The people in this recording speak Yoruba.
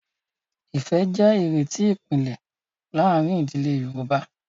Ìfẹ́ jẹ́ ìrètí ìpìlẹ̀ láàárín ìdílé Yorùbá.